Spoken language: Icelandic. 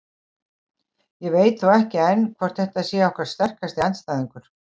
Ég veit þó ekki enn hvort þetta sé okkar sterkasti andstæðingur.